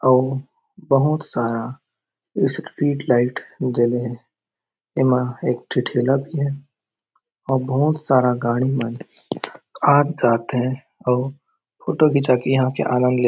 अउ बहुत सारा स्ट्रीट लाइट जले हे ए मा एक ठी ठेला भी हे अउ बहुत सारा गाड़ी मन आत जात हे अउ फोटो खींचा के एहा के आनंद ले --